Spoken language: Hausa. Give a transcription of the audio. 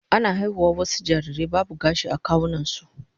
Ana haihuwar wasu jarirai babu gashi a kawunansu